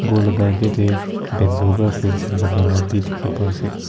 ghor laka akae tae bamboo pa fansin banala bi dikhiase.